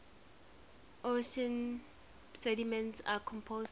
ocean sediments are composed of